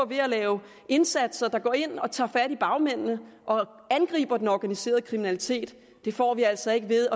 ved at lave indsatser der går ind og tager fat i bagmændene og angriber den organiserede kriminalitet det får vi altså ikke ved